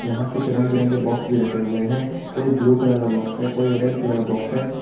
यहां कुछ रंग बिरंगे बॉक्स भी रखें हुए है कोई ब्लू कलर का बॉक्स है कोई ऑरेंज कलर का बॉक्स है।